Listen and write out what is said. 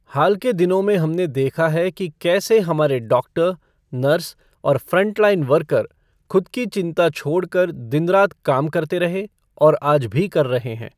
हाल के दिनों में हमने देखा है कि कैसे हमारे डॉक्टर, नर्स और फ़्रंट लाइन वर्कर, खुद की चिंता छोड़कर दिन रात काम करते रहे और आज भी कर रहे हैं।